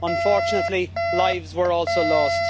Unfortunately, lives were also lost.